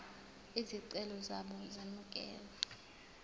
izicelo zabo zemukelwe